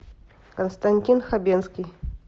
константин хабенский